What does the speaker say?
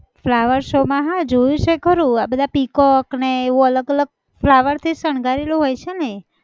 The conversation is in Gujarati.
flower show માં હા જોયું છે ખરું. આ બધા peacock ને એવું અલગ અલગ flower થી જ શણગારેલું હોય છે ને?